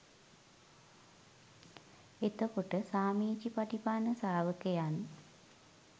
එතකොට සාමීචිපටිපන්න ශ්‍රාවකයන්